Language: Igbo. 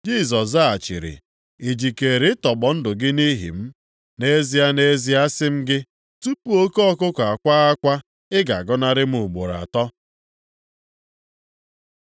Jisọs zaghachiri, “I jikeere ịtọgbọ ndụ gị nʼihi m? Nʼezie, nʼezie, asị m gị, tupu oke ọkụkụ akwaa akwa, ị ga-agọnarị m ugboro atọ.”